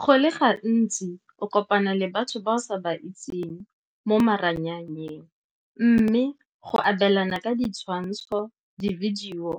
Go le gantsi o kopana le batho ba o sa ba itseng mo maranyaneng, mme go abelana ka ditshwantsho, di-video,